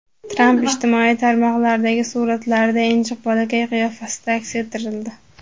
Tramp ijtimoiy tarmoqlardagi suratlarda injiq bolakay qiyofasida aks ettirildi.